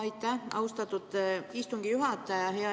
Aitäh, austatud istungi juhataja!